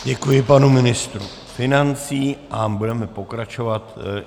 Děkuji panu ministru financí a budeme pokračovat.